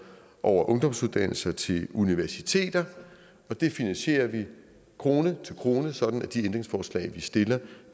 over ungdomsuddannelser til universiteter det finansierer vi krone til krone sådan at de ændringsforslag vi stiller